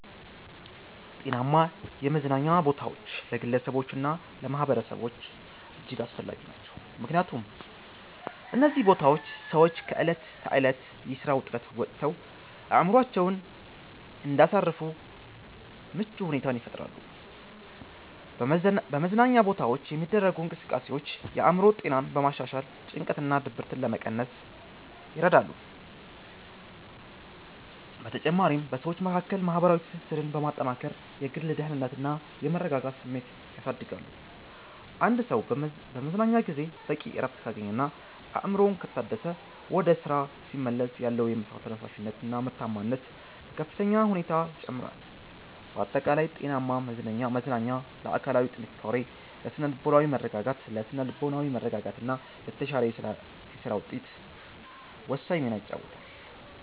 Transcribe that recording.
ጤናማ የመዝናኛ ቦታዎች ለግለሰቦችና ለማኅበረሰቦች እጅግ አስፈላጊ ናቸው። ምክንያቱም እነዚህ ቦታዎች ሰዎች ከዕለት ተዕለት የሥራ ውጥረት ወጥተው አእምሮአቸውን እንዲያሳርፉ ምቹ ሁኔታን ይፈጥራሉ። በመዝናኛ ቦታዎች የሚደረጉ እንቅስቃሴዎች የአእምሮ ጤናን በማሻሻል ጭንቀትንና ድብርትን ለመቀነስ ይረዳሉ። በተጨማሪም በሰዎች መካከል ማህበራዊ ትስስርን በማጠናከር የግል ደህንነትና የመረጋጋት ስሜትን ያሳድጋሉ። አንድ ሰው በመዝናኛ ጊዜው በቂ እረፍት ካገኘና አእምሮው ከታደሰ፣ ወደ ሥራው ሲመለስ ያለው የመሥራት ተነሳሽነትና ምርታማነት በከፍተኛ ሁኔታ ይጨምራል። ባጠቃላይ ጤናማ መዝናኛ ለአካላዊ ጥንካሬ፣ ለሥነ-ልቦናዊ መረጋጋትና ለተሻለ የሥራ ውጤት ወሳኝ ሚና ይጫወታል።